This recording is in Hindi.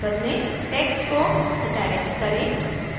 text को italics करें